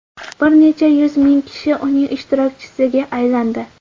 Bir necha yuz ming kishi uning ishtirokchisiga aylandi.